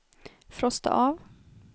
frosta av